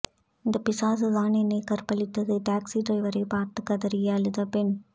இந்த பிசாசு தான் என்னை கற்பழித்தது டாக்சி டிரைவரை பார்த்து கதறி அழுத பெண்